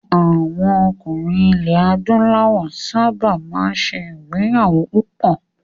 Àwọn ọkùnrin ilẹ̀ Adúláwọ̀ sábà máa ń ṣe ìgbéyàwó púpọ̀.